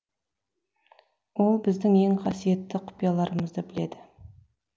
ол біздің ең қасиетті құпияларамызды біледі